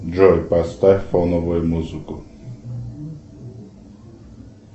джой поставь фоновую музыку